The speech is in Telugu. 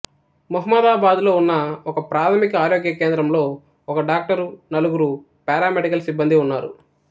మొహమ్మదాబాద్లో ఉన్న ఒకప్రాథమిక ఆరోగ్య కేంద్రంలో ఒక డాక్టరు నలుగురు పారామెడికల్ సిబ్బందీ ఉన్నారు